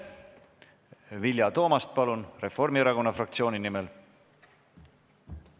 Vilja Toomast, palun, Reformierakonna fraktsiooni nimel!